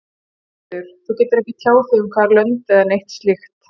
Sigríður: Þú getur ekki tjáð þig um hvaða lönd eða neitt slíkt?